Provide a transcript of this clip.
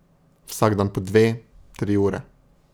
Vsak dan po dve, tri ure.